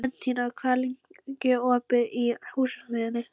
Bentína, hvað er lengi opið í Húsasmiðjunni?